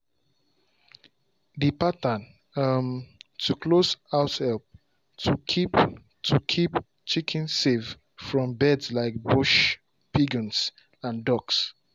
the pattern um to close house help to keep to keep chickens safe from birds like bush pigeons and ducks.